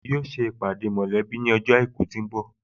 Wọn yóò ṣe ìpàdé mọ̀lẹ́bí ní ọjọ́ àìkú tó ń bọ̀